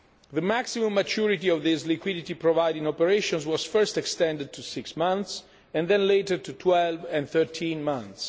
The maximum maturity of these liquidity providing operations was first extended to six months and then later to 12 and 13 months.